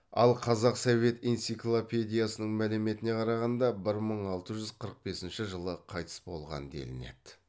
ал қазақ совет энциклопедиясының мәліметіне қарағанда бір мың алты жүз қырық бесінші жылы қайтыс болған делінеді